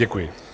Děkuji.